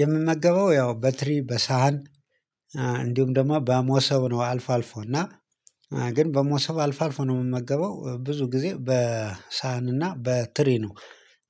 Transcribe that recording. የምመገበው ያው በትሪ በሳህን እንዲሁም ደግሞ በመሶብ ነው አልፎ አልፎ እና ግን በመሶብ አልፎ አልፎ ነው የምመገበው ብዙ ጊዜ በሳህን እና በትሪ ነው።